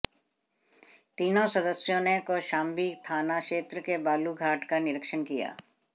तीनों सदस्यों ने कौशाम्बी थाना क्षेत्र के बालू घाट का निरीक्षण किया